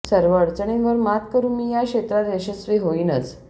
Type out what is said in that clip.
सर्व अडचणींवर मात करून मी या क्षेत्रात यशस्वी होईनच